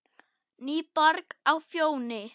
NÝBORG Á FJÓNI